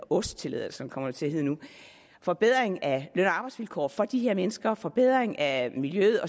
ost tilladelser kommer det til at hedde nu forbedring af løn og arbejdsvilkår for de her mennesker forbedring af miljøet